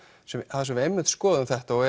þar sem við einmitt skoðuðum þetta og